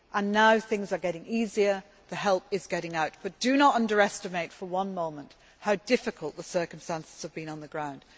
Now things are getting easier, the help is getting out, but do not underestimate for one moment how difficult the circumstances have been on the ground.